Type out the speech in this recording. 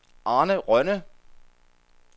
Arne Rønne